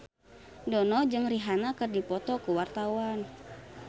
Dono jeung Rihanna keur dipoto ku wartawan